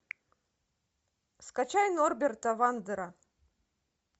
скачай норберта вандера